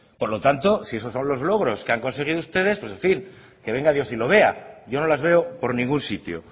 por lo tanto si esos son los logros que han conseguido ustedes pues en fin que venga dios y que lo vea yo no las veo por ningún sitio